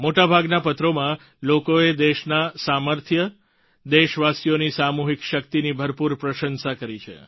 મોટાભાગના પત્રોમાં લોકોએ દેશના સામર્થ્ય દેશવાસીઓની સામૂહિક શક્તિની ભરપૂર પ્રશંસા કરી છે